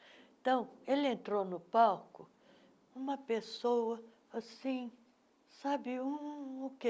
Então, ele entrou no palco, uma pessoa assim, sabe um um um o quê?